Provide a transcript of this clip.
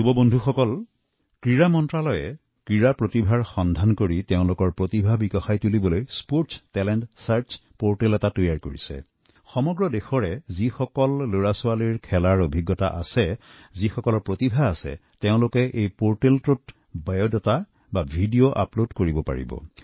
তৰুণ বন্ধুসকল ক্ৰীড়া মন্ত্ৰালয়ে খেলুৱৈৰ প্ৰতিভাৰ সন্ধান কৰিছে আৰু তেওঁলোকৰ বিকাশৰ লক্ষ্যৰে এটা খেলুৱৈ প্ৰতিভা সন্ধান পোৰ্টেল প্ৰস্তুত কৰিছে যত সমগ্ৰ দেশৰ পৰা যি কোনো সন্তানে যি খেলধেমালিৰ ক্ষেত্ৰত কিছু কৃতিত্ব অৰ্জন কৰিছে তেওঁলোকৰ মাজত প্ৰতিভা আছেতেওঁলোকে এই পোৰ্টেলত নিজৰ বায়ডাটা বা ভিডিঅ আপলোড কৰিব পাৰে